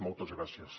moltes gràcies